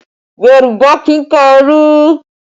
Yorùbá kì í ka ẹrú